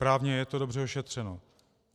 Právně je to dobře ošetřeno.